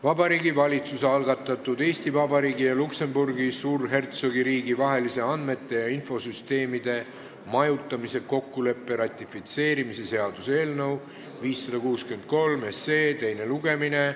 Vabariigi Valitsuse algatatud Eesti Vabariigi ja Luksemburgi Suurhertsogiriigi vahelise andmete ja infosüsteemide majutamise kokkuleppe ratifitseerimise seaduse eelnõu 563 teine lugemine.